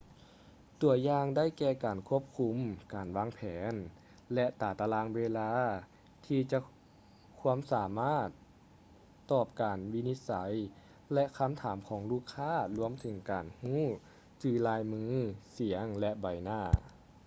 ຕົວຢ່າງໄດ້ແກ່ການຄວບຄຸມ ການວາງແຜນ ແລະ ຕາຕະລາງເວລາທີ່ຈະຄວາມສາມາດຕອບການວິນິດໄສ ແລະ ຄໍາຖາມຂອງລູກຄ້າລວມເຖິງການຮູ້ຈື່ລາຍມື ສຽງ ແລະ ໃບໜ້າ